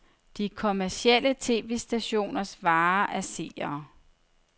De kommercielle tv-stationers vare er seere.